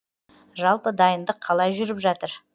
жалпы дайындық қалай жүріп жатыр